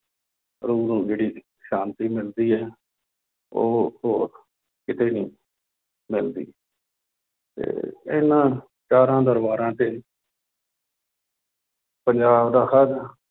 ਰੂਹ ਨੂੰ ਜਿਹੜੀ ਸ਼ਾਂਤੀ ਮਿਲਦੀ ਹੈ ਉਹ ਹੋਰ ਕਿਤੇ ਨੀ ਮਿਲਦੀ ਤੇ ਇਹਨਾਂ ਚਾਰਾਂ ਦਰਬਾਰਾਂ ਤੇ ਪੰਜਾਬ ਦਾ ਹਰ